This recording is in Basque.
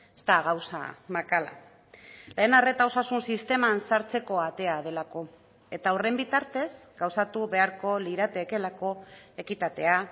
ez da gauza makala lehen arreta osasun sisteman sartzeko atea delako eta horren bitartez gauzatu beharko liratekeelako ekitatea